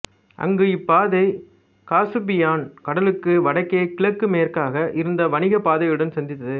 அங்கு இப்பாதை காசுப்பியன் கடலுக்கு வடக்கே கிழக்குமேற்காக இருந்த வணிக பாதையுடன் சந்தித்தது